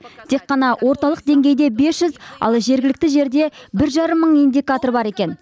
тек қана орталық деңгейде бес жүз ал жергілікті жерде бір жарым мың индикатор бар екен